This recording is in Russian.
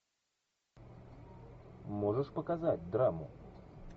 можешь показать драму